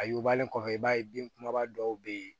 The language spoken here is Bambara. A yugubalen kɔfɛ i b'a ye bin kumaba dɔw bɛ ye